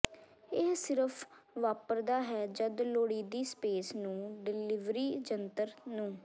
ਇਹ ਸਿਰਫ ਵਾਪਰਦਾ ਹੈ ਜਦ ਲੋੜੀਦੀ ਸਪੇਸ ਨੂੰ ਡਿਲਿਵਰੀ ਜੰਤਰ ਨੂੰ